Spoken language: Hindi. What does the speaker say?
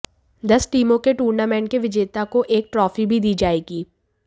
दस टीमों के टूर्नमेंट के विजेता को एक ट्रोफी भी दी जाएगी